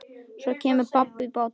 Svo kemur babb í bátinn.